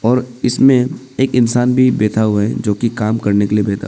और इसमें एक इंसान भी बैठा हुआ है जो काम करने के लिए बैठा--